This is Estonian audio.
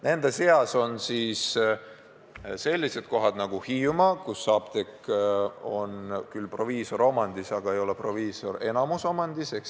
Nende seas on sellised kohad nagu Hiiumaa, kus üks apteek on küll proviisoriomandis, aga mitte proviisori enamusomandis.